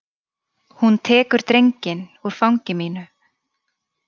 Hún tekur drenginn úr fangi mínu.